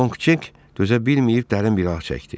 Long Çek dözə bilməyib dərin bir ah çəkdi.